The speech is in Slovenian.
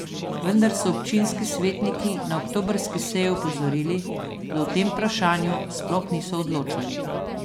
Vendar so občinski svetniki na oktobrski seji opozorili, da o tem vprašanju sploh niso odločali.